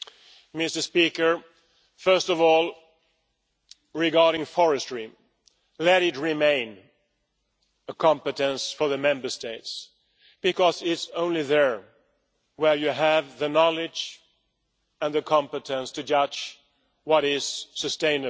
Mr President, first of all, regarding forestry. Let it remain a competence for the Member States, because it is only there that you have the knowledge and the competence to judge what is sustainable.